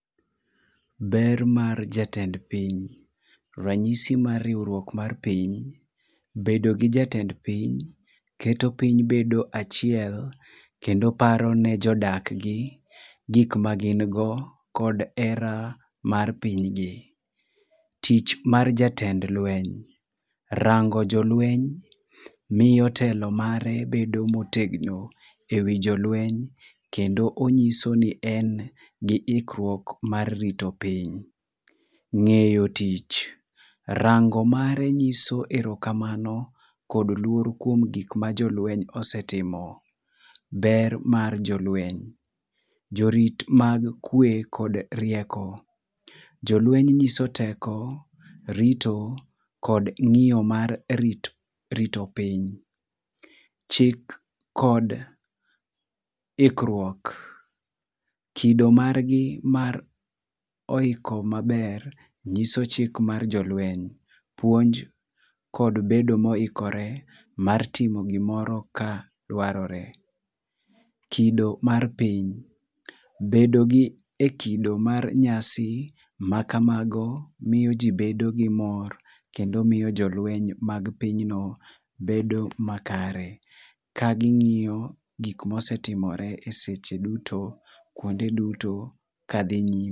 Ber mar jatend piny, rang'isi mar riwruok mar piny, bedo gi jatend piny keto poiny bedo e achiel kendo paro ne jodak gi gik ma gin go kod hera mar piny gi. Tich mar jatend lweny, rango jo lweny miyo telo mare bedo ma otegno e wi jo lweny kendo ongiso ni en gi ikruok mar rito piny.Ng'eyo tich, rango mare ng'iso erokamano kod luor kuom gik ma jolweny osetimo. Ber mar jo lweny ,jo rit mag kwe kod rieko, jo lweny ng'iso teko rito kod ng'iyo mar rito piny . Chik kod ikruok, kido mar gi ma oiko ma ber ng'iso chik mar jo lweny puonj kod bero ma oikore timo gi moro ka dwarore. Kido mar piny, bedo gi e kido mar nyasi ma kama go miyo ji bedo gi mor kendo miyo jo lweny mag piny no bedo makare ka ng'iyo gik ma osetimore e seche dutu, kuonde duto ka dhi nyime.